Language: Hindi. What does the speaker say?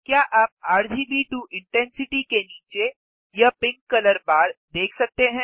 क्या आप आरजीबी टो इंटेंसिटी के नीचे यह पिंक कलर बार देख सकते हैं